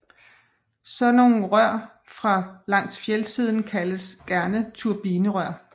Sådanne rør langs fjeldsiden kaldes gerne turbinerør